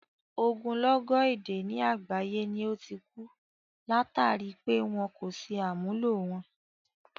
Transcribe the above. Ogúnlọ́gọ̀ èdè ni àgbáyé ni ó ti ku, látàri pé wọn kò ṣe àmúlò wọn.